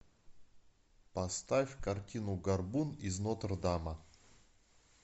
поставь картину горбун из нотр дама